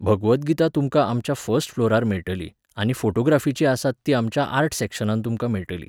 भगवद गीता तुमकां आमच्या फस्ट फ्लोरार मेळटली आनी फॉटोग्राफिचीं आसात तीं आमच्या आर्ट सॅक्शनांत तुमकां मेळटलीं